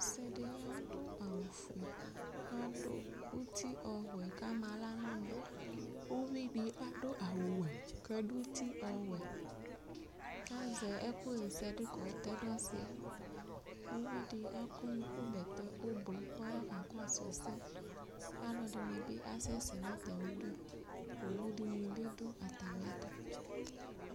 Ɔsɩ dɩ adʋ awʋ fue adʋ ʋtɩ ɔbʋɛ kamaɣla nɔna Ʋvɩdɩ adʋ awʋ ɔwɛ kadʋ ʋti ɔwɛ kazɛ ɛkʋ ɣɛsɛdʋ kɔtɛdʋ ɔsɩɛ Ʋvɩ dɩ akɔ ʋku bɛtɛ ʋblɔ kɔya kakɔsʋ ɛsɛ kalʋ ɛdɩnɩ bɩ kalʋɛdɩnɩ bɩ asɛsɛ nʋ atamɩdʋ Owʋ dɩnɩ bɩ dʋ atamɩɛtʋ